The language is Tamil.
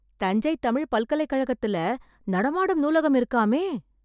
தஞ்சை தமிழ் பல்கலைக் கழகத்துல நடமாடும் நூலகம் இருக்காமே...